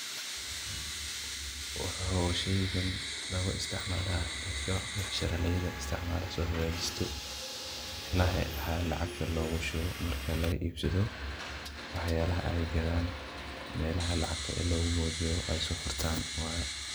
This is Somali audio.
Waxuu sheygan lagu isticmalaa dadka becsharaleyda istcimaalo soo hagaajisto ilahi lacagta loogu shubo marka laga iibsado wax yalaha ay gadaan melaha lacagta loogu moodiyo ay soo furtaan.